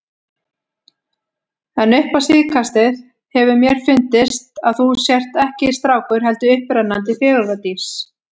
En upp á síðkastið hefur mér fundist að þú sért ekki strákur, heldur upprennandi fegurðardís.